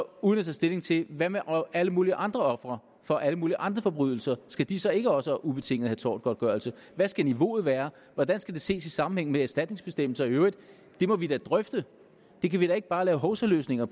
uden at tage stilling til hvad med alle mulige andre ofre for alle mulige andre forbrydelser skal de så ikke også have ubetinget tortgodtgørelse hvad skal niveauet være hvordan skal det ses i sammenhæng med erstatningsbestemmelser i øvrigt det må vi da drøfte der kan vi da ikke bare lave hovsaløsninger